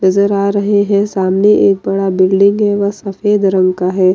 नजर आ रहे हैं सामने एक बड़ा बिल्डिंग है व सफ़ेद रंग का है।